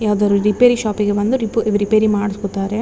ಯಾವುದಾರು ರಿಪೇರಿ ಶಾಪಿಗೆ ಬಂದು ರಿಪೇರಿ ಮಾಡಿಸ್ಕೊತಾರೆ.